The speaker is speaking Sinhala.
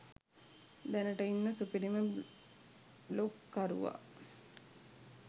දැනට ඉන්න සුපිරිම බ්ලොග් කරුවා